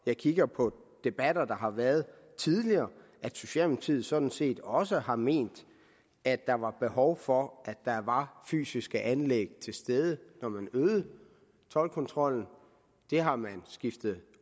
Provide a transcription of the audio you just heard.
jeg kigger på debatter der har været tidligere at socialdemokratiet sådan set også har ment at der var behov for at der var fysiske anlæg til stede når man øgede toldkontrollen det har man skiftet